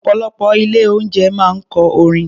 Ọ̀pọ̀lọpọ̀ ilé-oúnjẹ máa ń kọ orin.